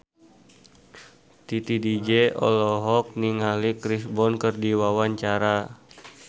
Titi DJ olohok ningali Chris Brown keur diwawancara